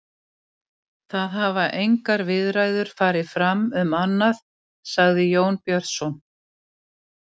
Það hafa engar viðræður farið fram um annað, sagði Jón Björn.